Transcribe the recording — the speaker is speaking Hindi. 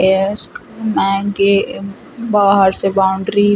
एस्क मैं के बाहर से बाउंड्री --